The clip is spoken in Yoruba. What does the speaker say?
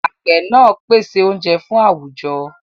Àgbẹ̀ náà ń pèsè oúnjẹ fún àwùjọ.